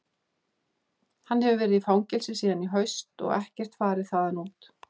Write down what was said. Hann hefur verið í fangelsi síðan í haust og ekkert farið þaðan út.